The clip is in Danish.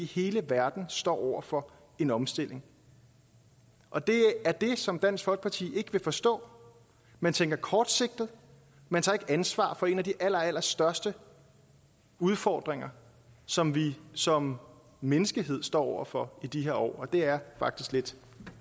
hele verden står over for en omstilling og det er det som dansk folkeparti ikke vil forstå man tænker kortsigtet man tager ikke ansvar for en af de allerallerstørste udfordringer som vi som menneskehed står over for i de her år og det er faktisk lidt